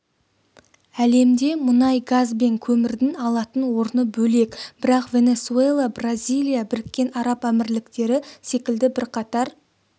әлемде мұнай газ бен көмірдің алатын орны бөлек бірақ венесуэла бразилия біріккен араб әмірліктері секілді бірқатар